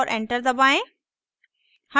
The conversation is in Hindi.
और enter दबाएं